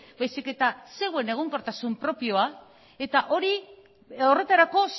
baizik eta zeuen egonkortasun propioa eta horretarako